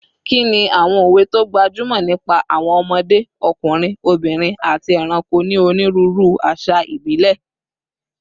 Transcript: Kí ni àwọn òwe tó gbajúmọ̀ nípa àwọn ọmọdé, ọkùnrin, obìnrin, àti ẹranko ní onírúurú àṣà ìbílẹ̀?